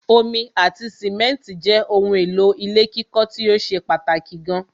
Omi ati simẹ́ntì jẹ́ ohun èlò ilé kíkọ́ tíó ṣe pàtàkì gan